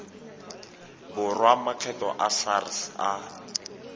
borwa a makgetho sars a